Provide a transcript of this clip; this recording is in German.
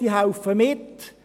Die Bauern helfen mit.